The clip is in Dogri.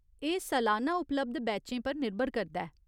एह् सलान्ना उपलब्ध बैचें पर निर्भर करदा ऐ।